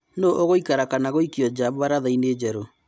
Nũũ ũgũikara kana gũikio nja mbarathaĩnĩ njerũ ?